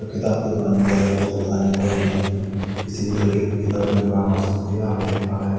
किताब की दुकान में ज्यादा कुछ तो बताने को है नहीं किसी भी तरह के किताब के दुकान हो सकती है आप देख पा रहे है।